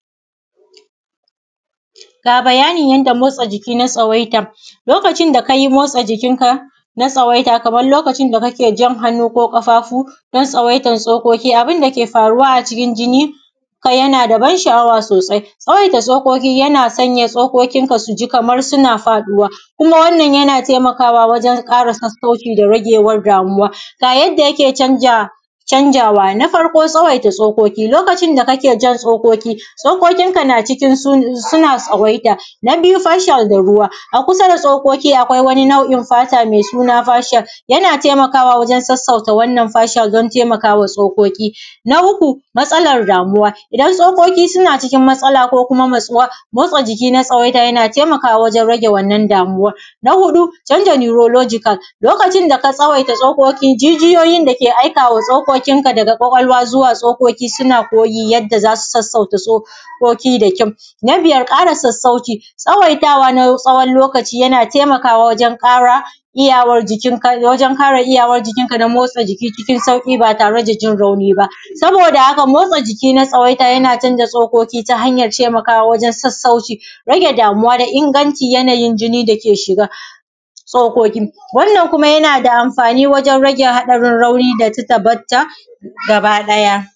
Ga bayanin yadda motsa jikina tsawaita, lokacin da ka yi motsaa jikinka na tsawaita kamar lokacin da kake jan hannu ko ƙafaafu don tsawaitan tsokoki, abin dake faruwa acikin jini kai yana da ban sha’awa soosai. Tsawaita tsokoki yana sanya tsokokinka su ji kamar suna faɗuwa kuma wannan yana taimakawa wajen sassauci da ragewar damuwa. Ga yadda yake canja canjaawa, na farko; tsawaita tsokoki, lokacin da kake jan tsokoki, tsokokinka na cikin suna tsawaita. Na biyu fashiyal da ruwa; a kusa da tsokoki akwai wani nau’in fata mai suna fashiyal, yana taimakaawa wajen sassauta wannan fashiyal don taimakawa tsokoki. Na uku, matsalar damuwa; idan tsokoki suna cikin matsala ko kuma matsuwa, motsaa jiki na tsawaita yana taimakawa wajen rage wannan damuwar. Na huɗu canja neurological; lokacin da ka tsawaita tsokokin jijiyoyin dake aikawa tsokokinka daga ƙwaƙwalwa zuwa tsokoki suna koyi yadda za su sassauta tsokoki da kyau. Na biyar ƙara sassauci; tsawaitawa na tsawon lokaci yana taimakawa wajen ƙara iyawar jikin ka wajen ƙara iyawar jikinka don motsa jiki cikin sauƙi baa tare da jin rauni ba. Sabooda haka motsaa jiki na tsawaita yana canja tsokoki ta hanyar taimakawa wajen sassauci, rage damuwa da inganci yanayin jini dake shiga. Tsokoki, wannan kuma yana da amfaani wajen rage haɗarin rauni da titabatta gaba ɗaya.